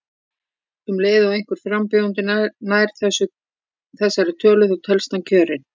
Um leið og einhver frambjóðandi nær þessari tölu þá telst hann kjörinn.